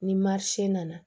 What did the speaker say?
Ni nana